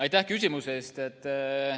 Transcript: Aitäh küsimuse eest!